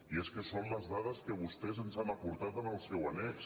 i és que són les dades que vostès ens han aportat en el seu annex